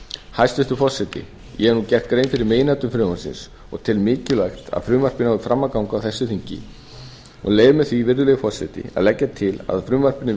hæstvirtur forseti ég hef nú gert grein fyrir meginatriðum frumvarpsins og tel mikilvægt að frumvarpið nái fram að ganga á þessu þingi og leyfi mér því virðulegi forseti að leggja til að frumvarpinu verði